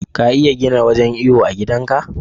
ka iya gina wajan iyo a gidan ka